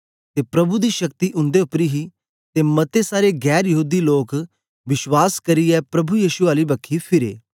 ते प्रभु दी शक्ति उन्दे उपर ही ते मते सारे गैर यहूदी लोक विश्वास करियै प्रभु यीशु आली बखी फिरे